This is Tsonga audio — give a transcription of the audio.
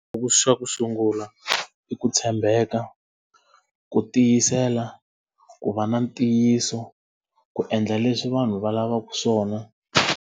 Xa ku sungula i ku tshembeka, ku tiyisela, ku va na ntiyiso, ku endla leswi vanhu va lavaka swona.